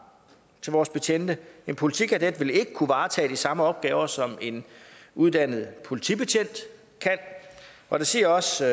til vores betjente en politikadet vil ikke kunne varetage de samme opgaver som en uddannet politibetjent kan og det siger også